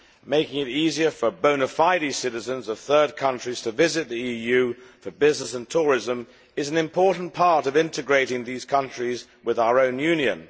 Making it easier for bona fide citizens of third countries to visit the EU, for business and tourism, is an important part of integrating these countries with our own Union.